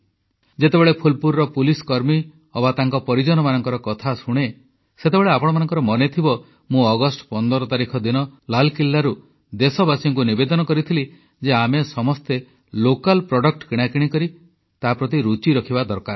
ଯେତେବେଳେ ଫୁଲପୁରର ପୋଲିସକର୍ମୀ ଅବା ତାଙ୍କ ପରିଜନମାନଙ୍କର କଥା ଶୁଣେ ସେତେବେଳେ ଆପଣମାନଙ୍କର ମନେଥିବ ମୁଁ ଅଗଷ୍ଟ 15 ତାରିଖ ଦିନ ଲାଲକିଲାରୁ ଦେଶବାସୀଙ୍କୁ ନିବେଦନ କରିଥିଲି ଯେ ଆମେ ସମସ୍ତେ ସ୍ଥାନୀୟ ଉତ୍ପାଦ କିଣାକିଣି ପ୍ରତି ରୁଚି ରଖିବା ଦରକାର